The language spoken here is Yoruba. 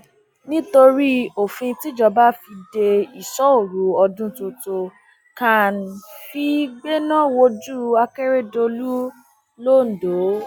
nítorí òfin tíjọba fi de ìṣọoru ọdún tuntun can fee gbéná wójú akeredolu londo